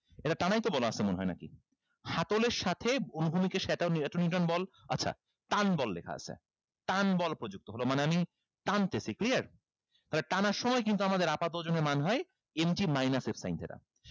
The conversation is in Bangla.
এটা টানাই তো বলা আছে মনে হয় নাকি হাতলের সাথে এতো neuton বল আচ্ছা টানবল লেখা আছে টানবল প্রযুক্ত হলো মানে আমি টানতেছি clear তাহলে টানার সময় কিন্তু আমাদের আপাত ওজনের মান হয় ইঞ্চি minus এর sign যেটা